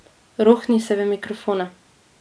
Rohni se v mikrofone.